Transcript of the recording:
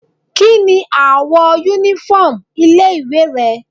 Kíni àwọ̀ uniform ilé ìwé rẹ̀?